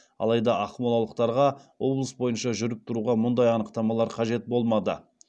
алайда ақмолалықтарға облыс бойынша жүріп тұруға мұндай анықтамалар қажет болмады